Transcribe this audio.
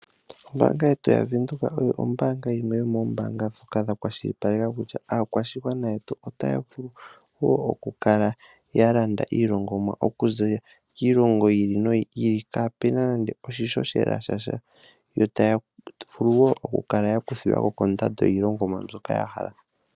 Ombaanga yetu ya Venduka oyo yimwe yomoombaanga ndhoka dha kwashilipaleka kutya aakwashigwana yetu otaya vulu woo oku kala ya landa iilongomwa okuza kiilongo yi ili no yi ili kaapuna nande oshishoshela sha sha. Yo taya vulu woo oku kala ya kuthilwako kondando yiilongomwa mbyoka ya hala.